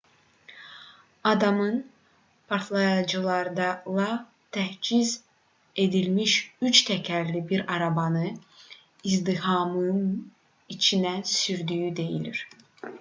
adamın partlayıcılarla təchiz edilmiş üç təkərli bir arabanı izdihamın içinə sürdüyü deyilir